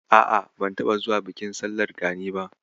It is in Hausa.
A'a, ban taɓa zuwa bikin sallar Gani ba.